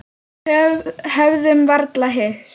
Höfðum varla hist.